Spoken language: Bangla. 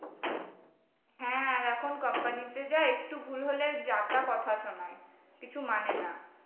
হ্যাঁ আর এখন company তে যা একটু ভুল হলে যা তা কথা শোনায়, কিছু মানে না।